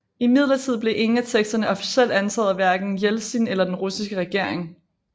Imidlertid blev ingen af teksterne officielt antaget af hverken Jeltsin eller den russiske regering